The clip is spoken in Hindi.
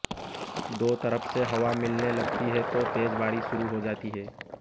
दो तरफ से हवा मिलनेे लगती है तो तेज बारिश शुरू हो जाती है